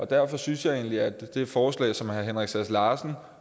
derfor synes jeg egentlig at det forslag som herre henrik sass larsen